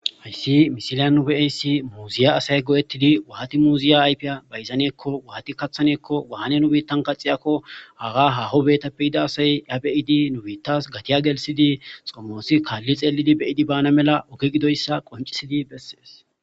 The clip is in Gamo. hayssi misilya nubeeyssi muuziya asay go7ettidi wahati muuziya ayfiya bayzaneekko wahati kathaneekko wahane nubitan kaxiyakko haga haho beetappeyida asay ya beyidi nubittas gatiya gelsidi xomoosi kaalli xeelidi beyidi baana mela oge gidoyssa qoncisidi bessees